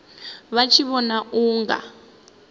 vha tshi vhona u nga